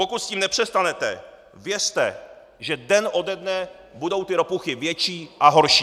Pokud s tím nepřestanete, věřte, že den ode dne budou ty ropuchy větší a horší.